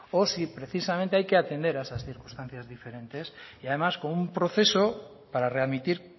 o si precisamente hay que atender a esas circunstancias diferentes y además con un proceso para readmitir